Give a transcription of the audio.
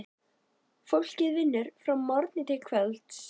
Fólkið vinnur frá morgni til kvölds.